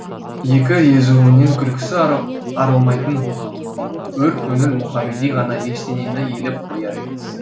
екі езуінен күлкісі арылмайтын өр көңіл мұхамеди ғана ештеңені елеп қояр емес